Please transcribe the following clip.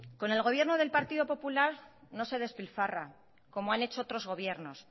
con el gobierno del partido popular no se despilfarra como han hecho otros gobiernos